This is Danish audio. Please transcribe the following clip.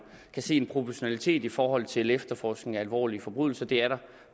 kan se en proportionalitet i forhold til efterforskningen af alvorlige forbrydelser det er der